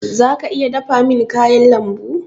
Zaka iya dafa min kayan lambun?